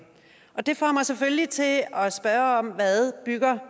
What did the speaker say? og det får mig selvfølgelig til at spørge hvad